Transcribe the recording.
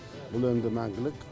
бұл енді мәңгілік